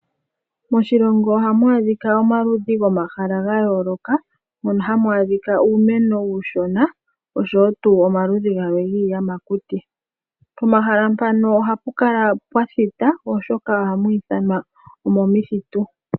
Moshilongo ohamu adhika omaludhi gomahala ga yooloka. Mono hamu adhika uumeno uushona osho woo tuu omaludhi gamwe giiyamakuti. Pomahala mpano ohapu kala pwathita oshoka oha mu ithanwa omomithitu.